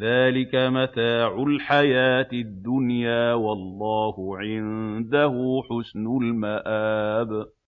ذَٰلِكَ مَتَاعُ الْحَيَاةِ الدُّنْيَا ۖ وَاللَّهُ عِندَهُ حُسْنُ الْمَآبِ